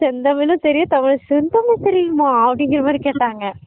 செந்த்தமிழ்லும் தெரியும் தமிழ் செந்த்தமிழ் தெரியுமா அப்படிங்குற மாறி கேட்டாங்க